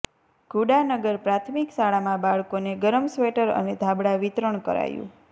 ઘુડાનગર પ્રાથમિક શાળામાં બાળકોને ગરમ સ્વેટર અને ધાબળા વિતરણ કરાયું